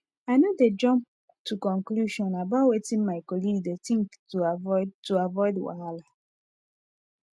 i no dey jump to conclusion about wetin my colleague dey think to avoid to avoid wahala